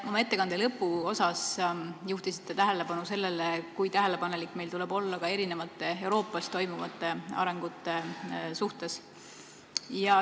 Te oma ettekande lõpuosas juhtisite tähelepanu sellele, kui tähelepanelik meil tuleb olla ka mitme Euroopas toimuva arengu suhtes.